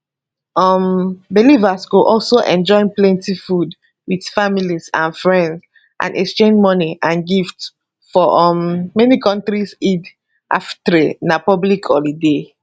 um believers go also enjoy plenty food wit friends and family and exchange money and and gifts for um many kontris eid alfitr na public holiday